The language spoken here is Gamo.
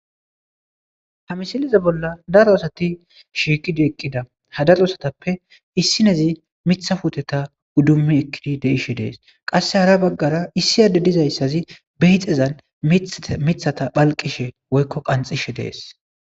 Ha missileza bolla daro asati shiiqidi eqida ha daro asatape issinezi mita puteta udumi ekidi yidideshe de'asi qase hara bagara issi adde dizayisi bedhezan mitata pheliqishe woyikko qanxishe de'as.